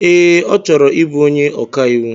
Ee, ọ chọrọ ịbụ onye ọka iwu.